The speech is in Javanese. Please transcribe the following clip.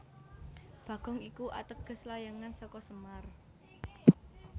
Bagong iku ateges layangan saka semar